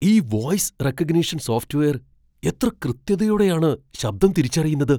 ഈ voice recognition software എത്ര കൃത്യതയോടെയാണ് ശബ്ദം തിരിച്ചറിയുന്നത്.